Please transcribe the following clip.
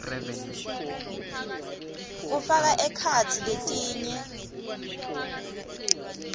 kufaka ekhatsi letinye